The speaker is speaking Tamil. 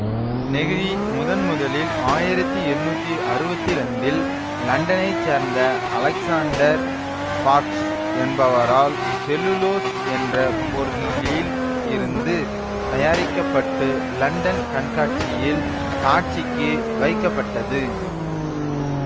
நெகிழி முதன் முதலில் ஆயிரத்தி எண்ணூத்தி அறுவத்தி இரண்டில் லண்டனைச் சேர்ந்த அலெக்சாண்டர் பார்க்ஸ் என்பவரால் செல்லுலோஸ் என்ற பொருளில் இருந்து தயாரிக்க பட்டு லண்டன் கண்காட்சியில் காட்சிக்கு வைக்கப்பட்டது